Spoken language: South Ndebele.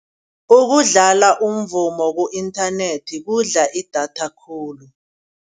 Ukudlala umvumo ku-inthanethi kudla idatha khulu.